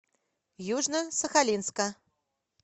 южно сахалинска